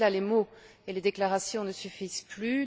Face à cela, les mots et les déclarations ne suffisent plus.